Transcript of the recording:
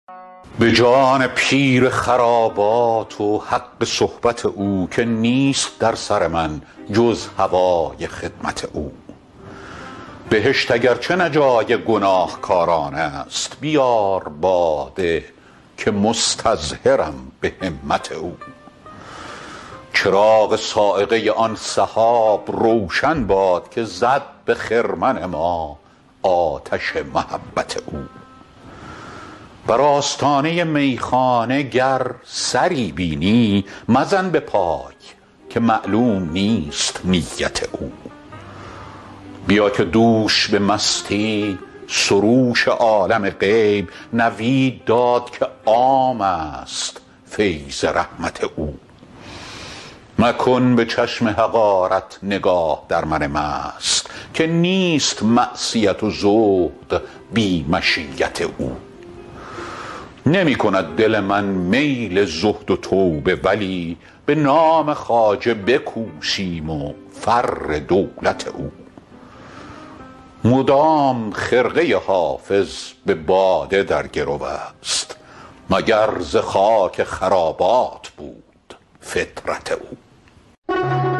به جان پیر خرابات و حق صحبت او که نیست در سر من جز هوای خدمت او بهشت اگر چه نه جای گناهکاران است بیار باده که مستظهرم به همت او چراغ صاعقه آن سحاب روشن باد که زد به خرمن ما آتش محبت او بر آستانه میخانه گر سری بینی مزن به پای که معلوم نیست نیت او بیا که دوش به مستی سروش عالم غیب نوید داد که عام است فیض رحمت او مکن به چشم حقارت نگاه در من مست که نیست معصیت و زهد بی مشیت او نمی کند دل من میل زهد و توبه ولی به نام خواجه بکوشیم و فر دولت او مدام خرقه حافظ به باده در گرو است مگر ز خاک خرابات بود فطرت او